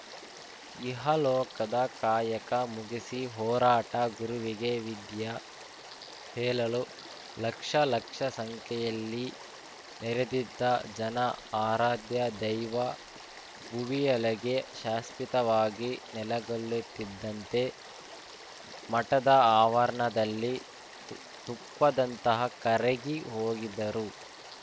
ಇಹಲೋಹದ ಕಾಯಕ ಮುಗಿಸಿ ಹೊರಾಟಾ ಗುರುವಿಗೆ ವಿದ್ಯ ಹೇಳಲು ಲಕ್ಷ ಲಕ್ಷ ಸಂಖ್ಯೆಯಲ್ಲಿ ನೆರೆದಿದ್ದ ಜನ ಆರಾಧ್ಯ ದೈವ ಭುವಿಯೊಳಗೆ ಶಾಶ್ವಿತವಾಗಿ ನೆಲೆಗೊಳ್ಳುತ್ತಿದ್ದಂತೆ ಮಠದ ಆವರ್ಣದಲ್ಲಿ ತು ತುಪ್ಪದಂತಹ ಕರಗಿ ಹೋಗಿದ್ದರು